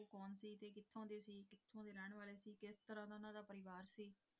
ਕਿਸ ਤਰਾਂ ਉਹਨਾਂ ਦਾ ਪਰਿਵਾਰ ਸੀ,